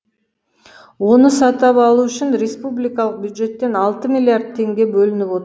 оны сатып алу үшін республикалық бюджеттен алты миллиард теңге бөлініп